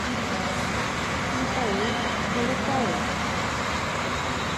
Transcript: михаил колупаев